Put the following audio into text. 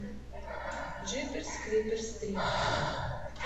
джиперс криперс три